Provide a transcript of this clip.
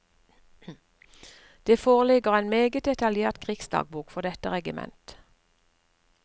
Det foreligger en meget detaljert krigsdagbok for dette regiment.